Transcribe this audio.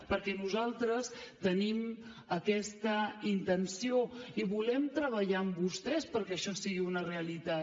perquè nosaltres tenim aquesta intenció i volem treballar amb vostès perquè això sigui una realitat